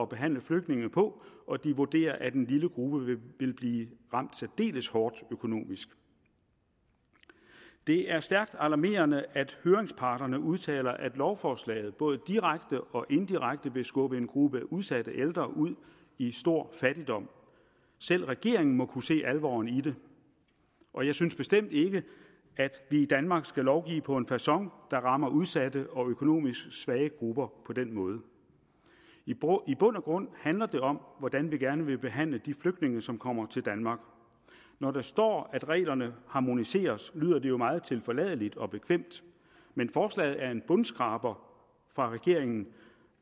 behandle flygtninge på og de vurderer at en lille gruppe vil blive ramt særdeles hårdt økonomisk det er stærkt alarmerende at høringsparterne udtaler at lovforslaget både direkte og indirekte vil skubbe en gruppe udsatte ældre ud i stor fattigdom selv regeringen må kunne se alvoren i det og jeg synes bestemt ikke at vi i danmark skal lovgive på en facon der rammer udsatte og økonomisk svage grupper på den måde i bund og grund handler det om hvordan vi gerne vil behandle de flygtninge som kommer til danmark når der står at reglerne harmoniseres lyder det jo meget tilforladeligt og bekvemt men forslaget er en bundskraber fra regeringen